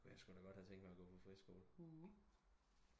Kunne jeg squ da godt have tænkt mig at gå på friskole